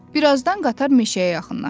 Birazdan qatar meşəyə yaxınlaşdı.